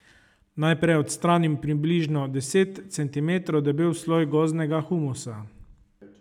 Najprej odstranim približno deset centimetrov debel sloj gozdnega humusa.